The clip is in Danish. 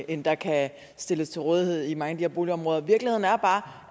end der kan stilles til rådighed i mange af de her boligområder virkeligheden er bare